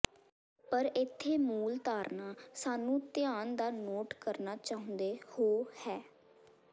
ਪਰ ਇੱਥੇ ਮੂਲ ਧਾਰਨਾ ਸਾਨੂੰ ਧਿਆਨ ਦਾ ਨੋਟ ਕਰਨਾ ਚਾਹੁੰਦੇ ਹੋ ਹੈ